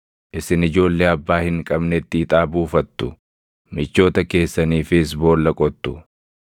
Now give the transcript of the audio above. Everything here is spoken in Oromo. Isin ijoollee abbaa hin qabnetti ixaa buufattu; michoota keessaniifis boolla qottu.